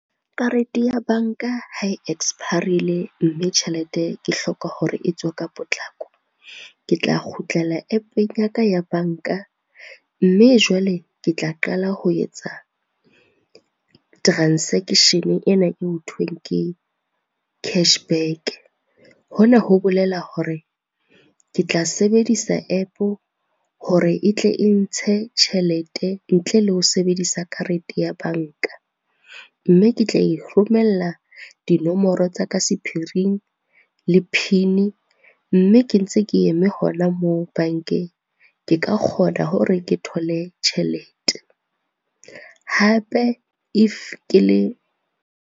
Karete ya banka ha e expire-rile, mme tjhelete ke hloka hore e tswe ka potlako. Ke tla kgutlela App-eng ya ka ya banka, mme jwale ke tla qala ho etsa transaction ena eo hothweng ke cash back. Hona ho bolela hore, ke tla sebedisa app hore e tle e ntshe tjhelete ntle le ho sebedisa karete ya banka, mme ke tla e romella dinomoro tsa ka sephiring, le PIN mme ke ntse ke eme hona moo bankeng, ke ka kgona hore ke thole tjhelete. Hape if ke le.